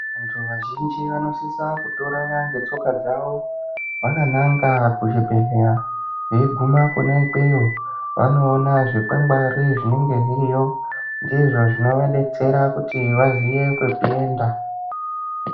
Vantu vazhinji vanosisa kutoronya ngetsoka dzavo vakananga kuzvibhehleya veiguma kwona ikweyo vanoona zvikwangwari zvinenge zviriyo ndizvo zvinovadetsera kuti vaziye kwekuenda.